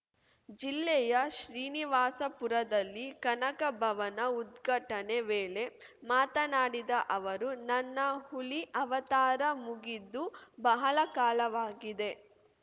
ಜಿಲ್ಲೆಯ ಶ್ರೀನಿವಾಸಪುರದಲ್ಲಿ ಕನಕ ಭವನ ಉದ್ಘಾಟನೆ ವೇಳೆ ಮಾತನಾಡಿದ ಅವರು ನನ್ನ ಹುಲಿ ಅವತಾರ ಮುಗಿದು ಬಹಳ ಕಾಲವಾಗಿದೆ